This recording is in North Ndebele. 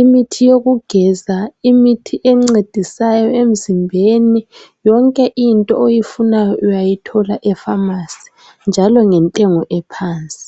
imithi yokugeza, imithi encedisayo emzimbeni yonke into oyifunayo uyayithola efamasi njalo ngentengo ephansi.